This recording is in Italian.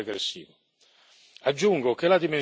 Sarebbe un comportamento sbagliato e regressivo.